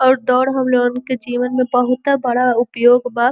और दौड़ हम लोगन के जीवन में बहुते बड़ा उपयोग बा।